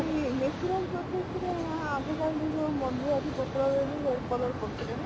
natural process ରେ ଆଗକାଳେ ଟିକେ ମଞ୍ଜୁଆତି ପାତ୍ର ରେ ବି hair color କରୁଥିଲେ ନା